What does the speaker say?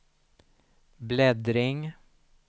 bläddring